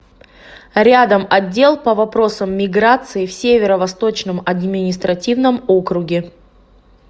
рядом отдел по вопросам миграции в северо восточном административном округе